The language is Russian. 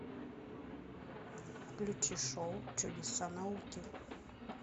включи шоу чудеса науки